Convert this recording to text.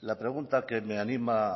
la pregunta que me anima